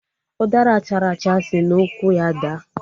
Ụdara chara acha si n'ukwu ya daa